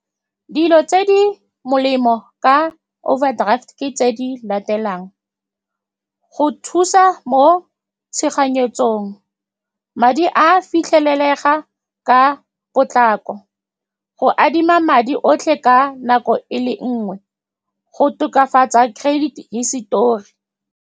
Dilo tse di molemo ka overdraft ke tse di latelang, go thusa mo tshoganyetsong, madi a a fitlhelega ka potlako, go adima madi otlhe ka nako e le nngwe, go tokafatsa credit hisitori.